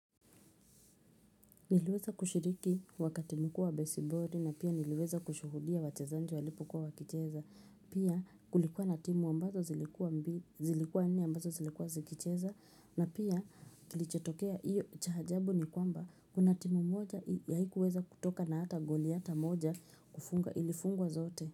Niliweza kushiriki wakati mkuu wa baseball na pia niliweza kushuhudia wachezaji walipo kuwa wakicheza. Pia kulikuwa natimu ambazo zilikuwa nne ambazo zilikuwa zikicheza na pia kilichotokea iyo chaajabu ni kwamba kunatimu moja haikuweza kutoka na hata goli hata moja kufunga ilifungwa zote.